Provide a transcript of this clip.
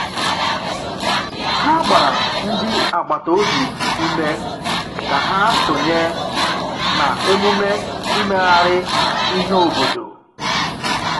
Ha gbara ndị agbata obi ume ka ha sonye na emume imegharị ihe obodo.